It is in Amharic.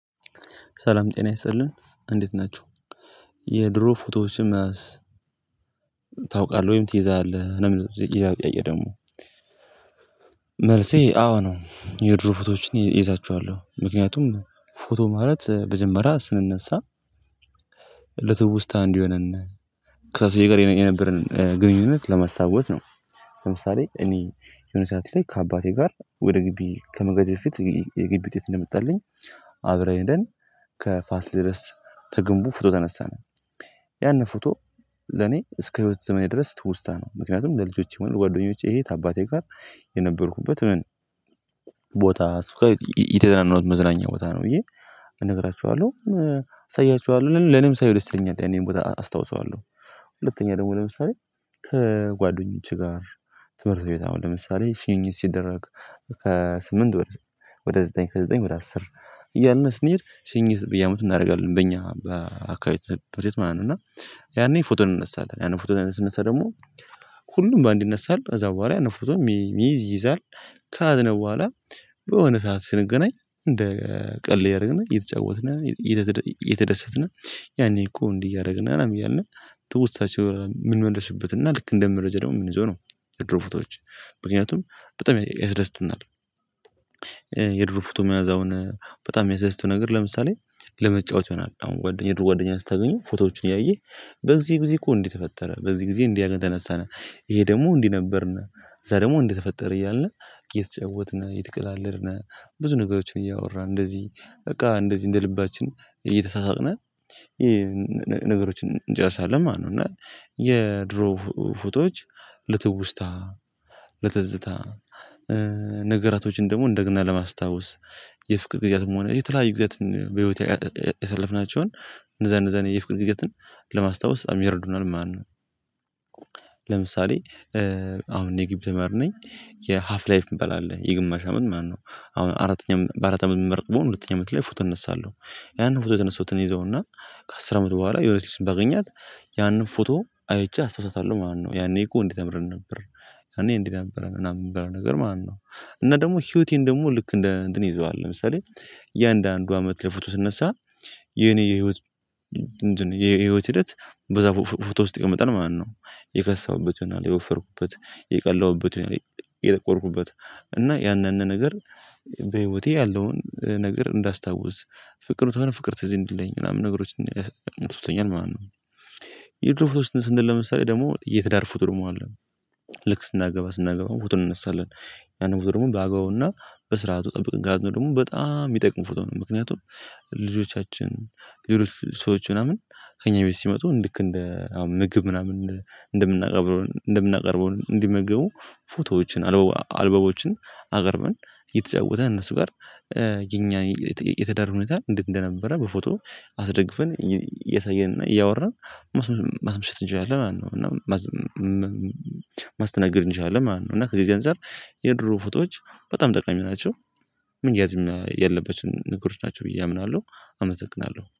ሰላም ጤና ይስጥልን። እንዴት ናችሁ። የድሮ ፎቶዎችን መያዝ ታውቃለህ ወይም ትይዛለህ ነው የሚለው ይህ ጥያቄ። ደግሞ መልሴ አዎ ነው። የድሮ ፎቶዎችን እይዛቸዋለሁ። ምክንያቱም ፎቶ ማለት መጀመሪያ ስንነሳ ለትውስታ እንዲሆነን ከሰው ጋር የነበረን ግንኙነት ለማስታወስ ነው። ለምሳሌ እኔ የሆነ ሰዓት ላይ ከአባቴ ጋር ወደ ግቢ ከመሄዴ በፊት የግቢ ውጤት እንደመጣልኝ አብረን ሄደን ከፋሲለ ደስ ከግንቡ ፎቶ ተነሳን። ያንን ፎቶ ለኔ እስከ ህይወት ዘመኔ ድረስ ትውስታ ነው። ምክንያቱም ለልጆቼ ወይም ለጓደኞቼ ይሄ አባቴ ጋር የነበርኩበት ምን ቦታ የተዝናናውት መዝናኛ ቦታ ነው ብዬ እነግራችኋለሁ፤ አሳያችኋለሁ። ለኔም ሳየው ደስ ይለኛል። ያንን ቦታ አስታውሰዋለሁ። ሁለተኛ ደግሞ ለምሳሌ ከጓደኞቼ ጋር ትምህርት ቤት አሁን ለምሳሌ ሽኝት ሲደረግ ከስምንት ወደ ዘጠኝ ከዘጠኝ ወደ አስር እያልን ስንሄድ ሽኝት በየአመቱ እናደርጋለን በእኛ በአካባቢው ትምህርት ቤት ማለት ነው። እና ያኔ ፎቶ እንነሳለን። ያንን ፎቶ ስንነሳ ደግሞ ሁሉም በአንድ ይነሳል ከዛ በኋላ ያንን ፎቶ የሚይዝ ይይዛል ያዝነው በኋላ በሆነ ሰዓት ስንገናኝ እንደ ቀልድ እያደረግነ እየተጫወትነ እየተደሰትነ ያኔ እኮ እንዲህ እያደረግን ነው እያልነ ትውስታዎቸውን ምንመልስበት እና ልክ እንደመረጃ ደግሞ የምንይዘው ነው የድሮ ፎቶዎች። ምክንያቱም በጣም ያስደስቱናል። የድሮ ፎቶ መያዝ አሁን በጣም የሚያስደስተው ነገር ለምሳሌ ለመጫወት ይሆናል። አሁን ጓደኛ ከጓደኛ ስታገኙ ፎቶዎችን እያየህ በዚህ ጊዜ እኮ እንዲህ ተፈጠረ በዚህ ጊዜ እንዲህ አድርገን ተነሳን ይሄ ደግሞ እንዲህ ነበርነ ከዛ ደግሞ እንዲህ ተፈጠረ እያልን እየተጫወትን እየተቀላለድነ ብዙ ነገሮችን እያወራን እንደዚህ በቃ እንደዚህ እንደ ልባችን እየተሳሳቅን ነገሮችን እንጨርሳለን ማለት ነው። እና የድሮ ፎቶዎች ለትውስታ፣ ለትዝታ፣ ነገራቶችን ደግሞ እንደገና ለማስታወስ የፍቅር ጊዜያትም ሆነ የተለያዩ ጊዜያት በህይወት ያሳለፍናቸውን እንደዛ እንደዛ የፍቅር ጊዜያትን ለማስታወስ በጣም ይረዱናል ማለት ነው። ለምሳሌ አሁን እኔ የጊቢ ተማሪ ነኝ። የሀፍ ላይፍ እሚባል አለ፤ የግማሽ አመት ማለት ነው። አሁን አራተኛም በአራት አመት የምመረቅ ቢሆነ ሁለተኛው አመት ላይ ፎቶ እነሳለሁ። ያንን ፎቶ የተነሳውትን እይዘውና ከአስር አመት በኋላ የሆነች ልጅን ባገኛት ያንን ፎቶ አይቼ አስታውሳታለሁ ማለት ነው። ያኔ እኮ እንዲህ ተምረን ነበር። ያኔ እንዲህ ነበረን ምናምን የሚባለውን ነገር ማለት ነው። እና ደግሞ ህይወቴን ደግሞ ልክ እንደ እንትን እይዘዋለሁ። ለምሳሌ እያንዳንዱ አመት ላይ ፎቶ ስነሳ የኔ የህይወት እንትን የህይወት ሂደት በዛ ፎቶ ውስጥ ይቀመጣል ማለት ነው። የከሳሁበት ይሆናል የወፈርኩበትን የቀላሁበትን ይሆናል የጠቆርኩበትን እና ያንን ነገር በህይወቴ ያለውን ነገር እንዳስታውስ ፍቅር ተወን ፍቅር ትዝ እንዲለኝ ምናምን ነገሮች ያስታውሰኛል ማለት ነው። የድሮ ፎቶዎችን ስንል ለምሳሌ ደግሞ የትዳር ፍቅር ማለት ነው። ልክ ስናገባ ስናገባ ፎቶ እንነሳለን። ያንን ፎቶ ደግሞ ባግባቡ እና በስርዓቱ ጠብቀን ከያዝነው ደግሞ በጣም የሚጠቅም ፎቶ ነው። ምክንያቱም ልጆቻችን ሌሎች ሰዎች ምናምን ከእኛ ቤት ሲመጡ ልክ እንደ አሁን ምግብ ምናምን እንደምናቀርበው እንደምናቀርበው እንዲመገቡ ፎቶዎችን አልበሞችን አቅርበን እየተጫወትን እነሱ ጋር የኛ የትዳር ሁኔታ እንዴት እንደነበረ በፎቶ አስደግፈን እያሳየንና እያወራን ማስመሸት እንችላለን ማለት ነው። እና ማስተናገድ እንችላለን ማለት ነው። እና ከዚህ እዚህ አንፃር የድሮ ፎቶዎች በጣም ጠቃሚ ናቸው። መያዝም ያለባቸው ነገሮች ናቸው ብዬ አምናለሁ። አመሰግናለሁ።